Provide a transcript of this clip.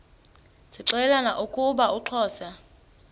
zixelelana ukuba uxhosa